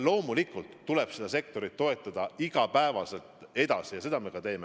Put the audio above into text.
Loomulikult tuleb seda sektorit igapäevaselt edasi toetada ja seda me ka teeme.